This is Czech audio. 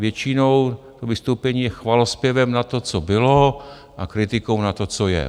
Většinou to vystoupení je chvalozpěvem na to, co bylo, a kritikou na to, co je.